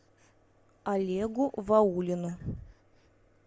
олегу ваулину